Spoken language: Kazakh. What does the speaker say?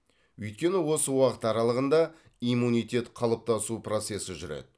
өйткені осы уақыт аралығында иммунитет қалыптасу процесі жүреді